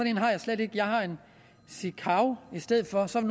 en har jeg slet ikke jeg har en sikav i stedet for så er